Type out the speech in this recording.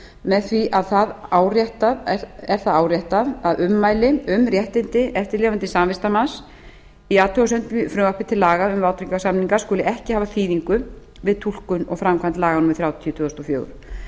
með því er það áréttað að ummæli um réttindi eftirlifandi samvistarmanns í athugasemdum í frumvarpi til laga um vátryggingarsamninga skuli ekki hafa þýðingu við túlkun og framkvæmd laga númer þrjátíu tvö þúsund og fjögur